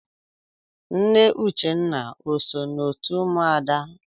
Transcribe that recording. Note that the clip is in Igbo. Nne Uchenna o so n'otu ụmụada?